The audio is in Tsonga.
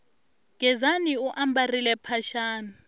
gezani u ambarile mphaxani